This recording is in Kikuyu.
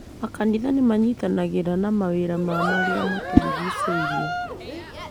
Makanitha nĩ manitanagĩra na mawĩra ma marĩa matũrigicĩirie.